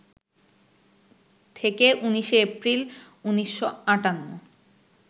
থেকে ১৯শে এপ্রিল, ১৯৫৮